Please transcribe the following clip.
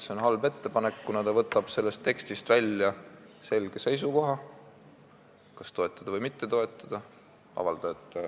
See on halb ettepanek, kuna võtab sellest tekstist välja selge seisukoha, kas tuleks toetada või mitte toetada.